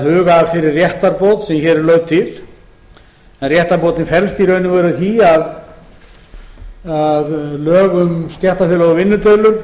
huga að þeirri réttarbót sem hér er lögð til réttarbótin felst í raun og veru í því að lög um stéttarfélög og vinnudeilur